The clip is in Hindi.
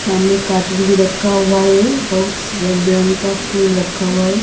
सामने कार्टून भी रखा हुआ हैं बहुत रंग बिरंगा फूल रखा हुआ हैं।